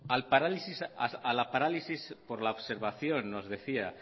a la parálisis por la observación nos decía